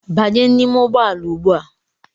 Banye n'ime ụgbọala ugbua!